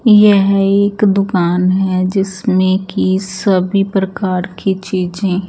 यह एक दूकान है जिसमें की सभी प्रकार की चीज़े --